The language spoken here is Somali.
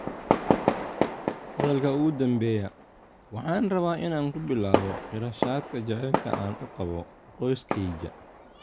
Hadalka ugu dambeeya: "Waxaan rabaa inaan ku bilaabo qirashada jacaylka aan u qabo qoyskayga.